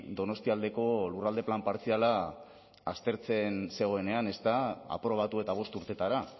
donostialdeko lurralde plan partziala aztertzen zegoenean aprobatu eta bost urtetara